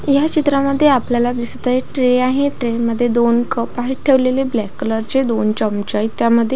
या चित्रामध्ये आपल्याला दिसत आहे ट्रे आहे ट्रेमध्ये दोन कप आहेत ठेवलेले ब्लॅक कलरचे दोन चमचे आहेत त्यामध्ये.